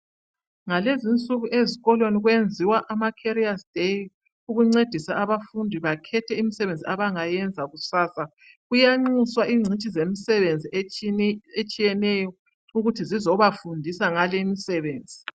Ngalezi insuku ezikolweni kwenziwa ama career's day ukuncedisa abafundi bakhethe imsebenzi abangayenza kusasa. Kuyanxuswa ingcitshi zemsebenzi etshiyeneyo ukuthi zizobafundisa ngale imsebenzi.